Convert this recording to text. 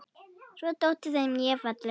Svo þótti þeim ég falleg.